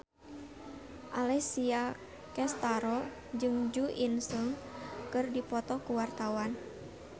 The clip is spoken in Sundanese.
Alessia Cestaro jeung Jo In Sung keur dipoto ku wartawan